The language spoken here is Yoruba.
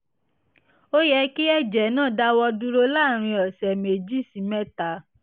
ó yẹ kí ẹ̀jẹ̀ náà dáwọ́ dúró láàárín ọ̀sẹ̀ méjì sí mẹ́ta